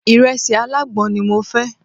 Ìrẹsì alágbọn ni mo fẹ́.